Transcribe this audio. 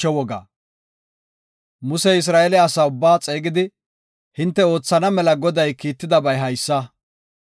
Musey Isra7eele asaa ubbaa xeegidi, “Hinte oothana mela Goday kiittidabay haysa;